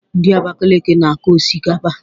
Ndị Abakaliki na-akọ osikapa